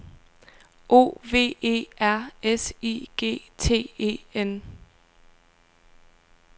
O V E R S I G T E N